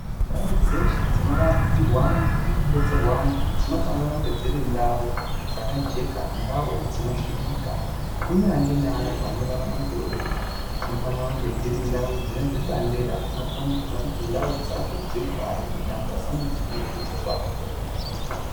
Ndau dzeshe dzinorapirwa antu nekudetserwa antu dzinofanire kunge dziri ndau dzakajeka ndau dzinosvikika kunyange neantu anorarama ngeurema . Dzinofanira kunge dzirindau dzine zvibandera zvinokombidza kuti ndau dzacho dziri pari kuti antu asaneseka ngekudzitsvaka.